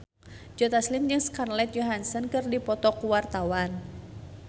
Joe Taslim jeung Scarlett Johansson keur dipoto ku wartawan